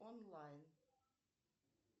онлайн